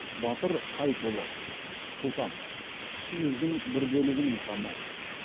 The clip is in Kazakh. батыр қайыпұлы сұлтан кіші жүздің бір бөлігінің ханы